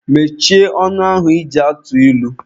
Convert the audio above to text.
Mechie ọnụ ahụ ị ji atụ ilu!